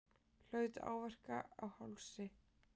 Hlaut áverka á hálsi